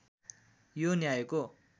यो न्यायको